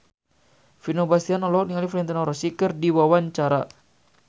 Vino Bastian olohok ningali Valentino Rossi keur diwawancara